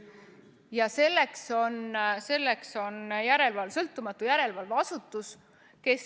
Ja seda jälgib sõltumatu järelevalveasutus.